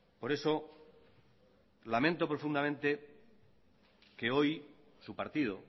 por eso lamento profundamente que hoy su partido